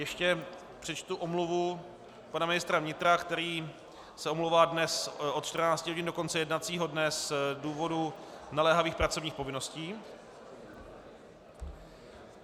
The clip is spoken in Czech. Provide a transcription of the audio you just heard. Ještě přečtu omluvu pana ministra vnitra, který se omlouvá dnes od 14. hodin do konce jednacího dne z důvodu naléhavých pracovních povinností.